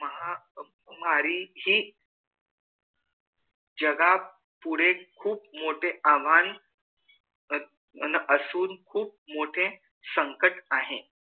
मारी ही जगा पुढे खूप मोठ आव्हान अन असून खूप मोठे संकट आहे